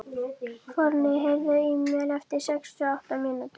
Forni, heyrðu í mér eftir sextíu og átta mínútur.